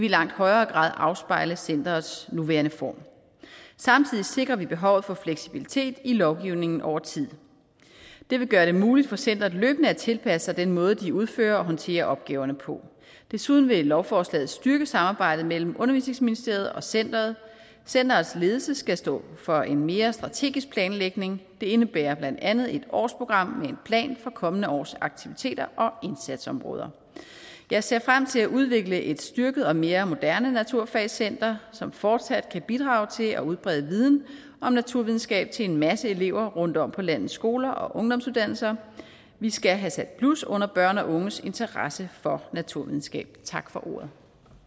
i langt højere grad afspejle centerets nuværende form samtidig sikrer vi behovet for fleksibilitet i lovgivningen over tid det vil gøre det muligt for centeret løbende at tilpasse sig den måde de udfører og håndterer opgaverne på desuden vil lovforslaget styrke samarbejdet mellem undervisningsministeriet og centeret centerets ledelse skal stå for en mere strategisk planlægning det indebærer blandt andet et årsprogram med en plan for kommende års aktiviteter og indsatsområder jeg ser frem til at udvikle et styrket og mere moderne naturfagscenter som fortsat kan bidrage til at udbrede viden om naturvidenskab til en masse elever rundt om på landets skoler og ungdomsuddannelser vi skal have sat blus under børns og unges interesse for naturvidenskab tak for ordet